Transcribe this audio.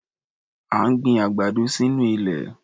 À ń gbin àgbàdo sínú ilẹ̀.